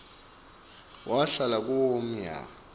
wahlala kuwo umnyaka